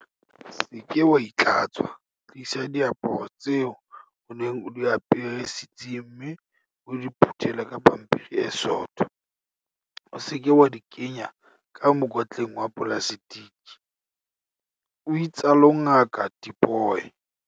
"Se ke wa itlhatswa, tlisa diaparo tseo o neng o di apere setsing mme o di phuthele ka pampiri e sootho, o se ke wa di kenya ka mokotleng wa polaseteke," o itsalo Ngaka Tipoy.